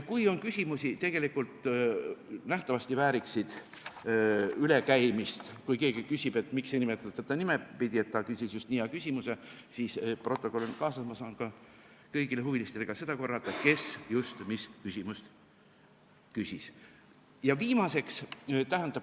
Kui on küsimusi, tegelikult nähtavasti vääriksid ülekäimist, kui keegi küsib, et miks ei nimetata teda nimepidi, et ta küsis just nii hea küsimuse, siis protokoll on kaasas, ma saan ka kõigile huvilistele seda korrata, kes just mis küsimust küsis.